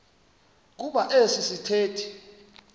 kuba esi sithethe